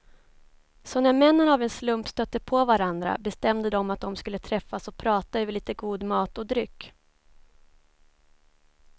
Så när männen av en slump stötte på varandra bestämde de att de skulle träffas och prata över lite god mat och dryck.